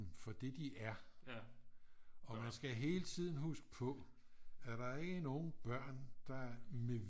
Dem for det de er og man skal hele tiden huske på at der er ikke nogen børn der med